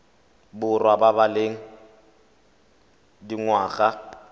borwa ba ba leng dingwaga